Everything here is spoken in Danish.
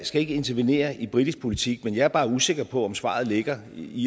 skal ikke intervenere i britisk politik men jeg er bare usikker på om svaret ligger i